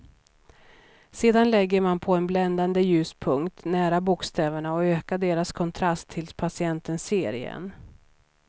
Sedan lägger man på en bländande ljuspunkt nära bokstäverna och ökar deras kontrast tills patienten ser igen.